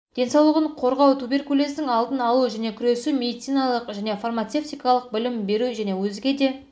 денсаулығын қорғау туберкулездің алдын алу және күресу медициналық және фармацевтикалық білім беру және өзге де